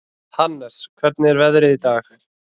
Hannes, hvernig er veðrið í dag?